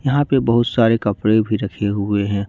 यहां पे बहुत सारे कपड़े भी रखे हुए हैं।